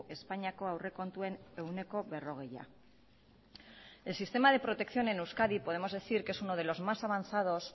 espainiako aurrekontuen ehuneko berrogeia el sistema de protección en euskadi podemos decir que es uno de los más avanzados